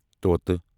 طوٗطہ